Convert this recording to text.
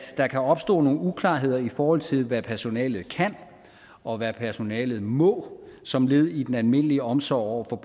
der kan opstå nogle uklarheder i forhold til hvad personalet kan og hvad personalet må som led i den almindelige omsorg over for